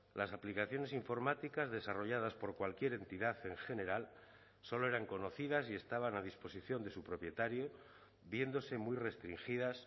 las aplicaciones informáticas desarrolladas por cualquier entidad en general solo eran conocidas y estaban a disposición de su propietario viéndose muy restringidas